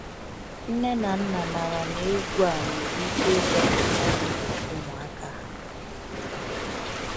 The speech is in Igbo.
Nne na nna mara na egwú a nwere ike ịzọpụta ndụ ụmụaka ha.